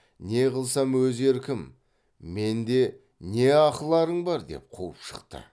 не қылсам өз еркім менде не ақыларың бар деп қуып шықты